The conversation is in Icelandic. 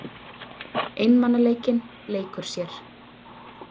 Einmanaleikinn leikur sér.